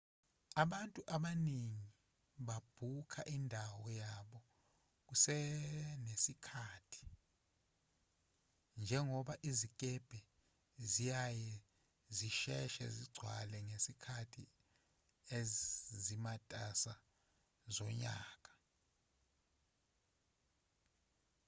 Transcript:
abantu abaningi babhukha indawo yabo kusenesikhathi njengoba izikebhe ziyaye zisheshe ukugcwala ngezikhathi ezimatasa zonyaka